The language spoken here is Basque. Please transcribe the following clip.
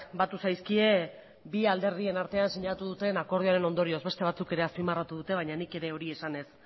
batu zaizkie bi alderdien artean sinatu duten akordioaren ondorioz beste batzuk ere azpimarratu dutebaina nik ere hori esanez